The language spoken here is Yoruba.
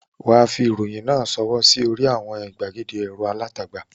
Wà á fi ìròyìn náà sórí àwọn ìgbàgede ẹ̀rọ alátagbà.